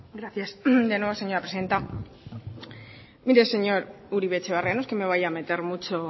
gracias de nuevo señora presidenta mire señor uribe etxebarria no es que me vaya a meter mucho